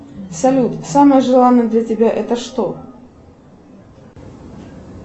салют самое желанное для тебя это что